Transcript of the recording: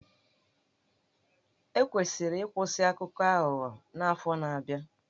E kwesịrị ịkwụsị Akụkọ Aghụghọ n'afọ na-abịa?